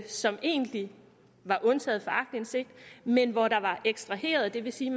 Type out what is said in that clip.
som egentlig var undtaget fra aktindsigt men hvor der var ekstraheret det vil sige